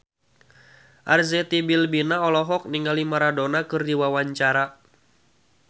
Arzetti Bilbina olohok ningali Maradona keur diwawancara